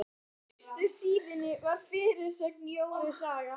Á fyrstu síðunni var fyrirsögn: Jóru saga.